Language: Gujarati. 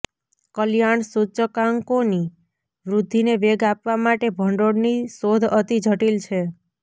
કલ્યાણ સૂચકાંકોની વૃદ્ધિને વેગ આપવા માટે ભંડોળની શોધ અતિ જટિલ છે